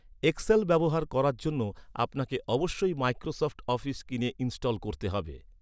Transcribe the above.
Excel ব্যবহার করার জন্য আপনাকে অবশ্যই মাইক্রোসফট অফিস কিনে ইনস্টল করতে হবে।